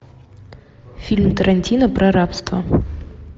фильм тарантино про рабство